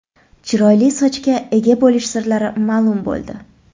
Chiroyli sochga ega bo‘lish sirlari ma’lum bo‘ldi.